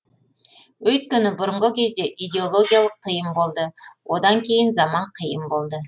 өйткені бұрынғы кезде идеологиялық тыйым болды одан кейін заман қиын болды